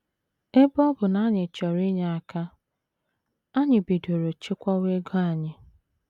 Ebe ọ bụ na anyị chọrọ inye aka, anyị bidoro chekwawa ego anyị.